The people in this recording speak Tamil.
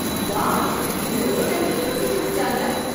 வாவ்! இந்த ரோட்ட எப்போ சீரமைச்சாங்க!